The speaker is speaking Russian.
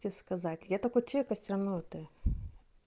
тебе сказать я такой человек я всё-равно это